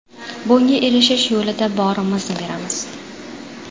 Bunga erishish yo‘lida borimizni beramiz.